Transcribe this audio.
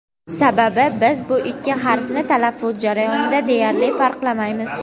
Sababi biz bu ikki harfni talaffuz jarayonida deyarli farqlamaymiz.